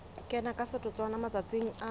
kena ka setotswana matsatsing a